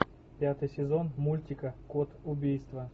пятый сезон мультика код убийства